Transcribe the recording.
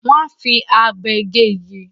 Wà á fi abe gé igi.